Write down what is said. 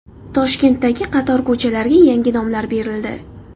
Toshkentdagi qator ko‘chalarga yangi nomlar berildi.